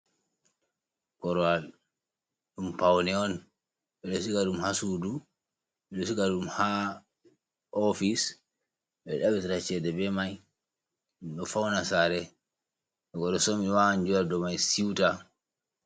Korowal ɗum pawne on, ɓe ɗo sika ɗum haa suudu. Ɓe ɗo sika ɗum haa oofis ,ɓe ɗo ɗaɓitira ceede be may, ɓe ɗo fawna saare, to goɗɗo somi waawan jooɗa dow may siwta.